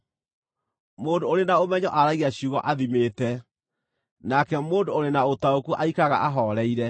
Mũndũ ũrĩ na ũmenyo aragia ciugo athimĩte, nake mũndũ ũrĩ na ũtaũku aikaraga ahooreire.